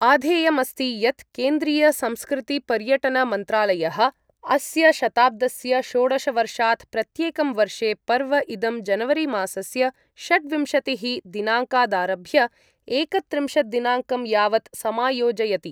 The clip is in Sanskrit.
आधेयमस्ति यत् केन्द्रीयसंस्कृतिपर्यटनमन्त्रालयः अस्य शताब्दस्य षोडशवर्षाद् प्रत्येकं वर्षे पर्व इदं जनवरीमासस्य षड्विंशतिः दिनाङ्कादारभ्य एकत्रिंशत् दिनाङ्कं यावत् समायोजयति।